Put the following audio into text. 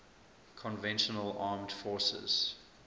conventional armed forces